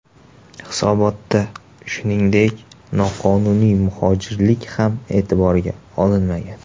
Hisobotda, shuningdek, noqonuniy muhojirlik ham e’tiborga olinmagan.